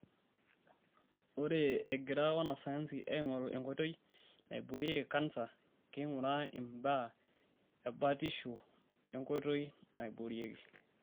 Ore egira wanasayansi aingoru enkoitoi naiboorieki kansa, keing'uraaanmbaa ebatisho onkoitoi naiboorieki.